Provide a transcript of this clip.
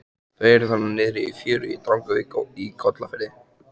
Þau eru þarna niðri í fjöru í Drangavík í Kollafirði.